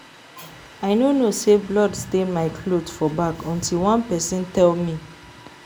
I no know say blood stain my cloth for back until one person tell me